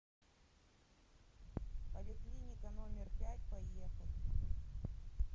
поликлиника номер пять поехали